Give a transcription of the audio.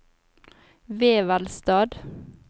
Vevelstad